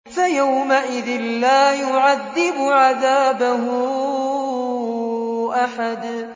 فَيَوْمَئِذٍ لَّا يُعَذِّبُ عَذَابَهُ أَحَدٌ